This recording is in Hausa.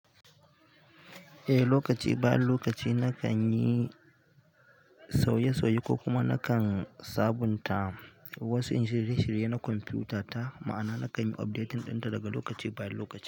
Eh, lokaci bayan lokaci na kan yi sauye-sauye ko kuma na kan sabunta wasu computer ta ma'ana nakan updating ɗinta daga lokaci bayan lokaci.